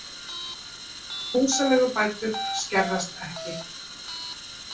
Húsaleigubætur skerðast ekki